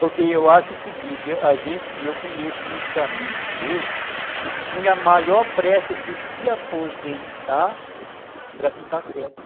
Porque eu acho o seguinte, a gente, e eu conheço muitos amigos meus, que tinham a maior pressa de se aposentar para ficar quieto.